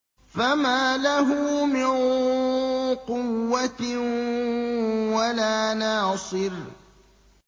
فَمَا لَهُ مِن قُوَّةٍ وَلَا نَاصِرٍ